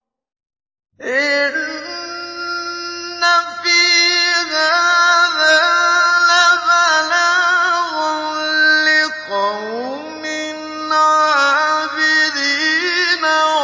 إِنَّ فِي هَٰذَا لَبَلَاغًا لِّقَوْمٍ عَابِدِينَ